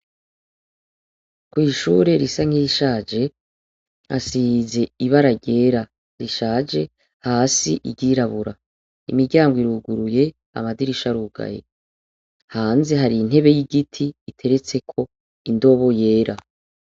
Kwishure risa nkirishaje hasize ibara ryera rishaje hasi iryirabura imiryango iruguruye amadirisha arugaye hanze harintebe yigiti igeretseko indobo yera